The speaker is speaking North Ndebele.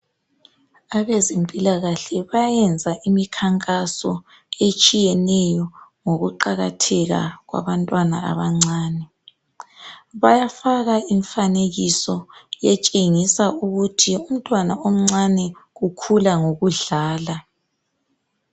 Abezempilakahle bayenza imikhankaso etshiyeneyo ngokuqakatheka kwabantwana abancane, bayafaka imfanekiso etshengisa ukuthi umntwana omncane ukhula ngokudlala.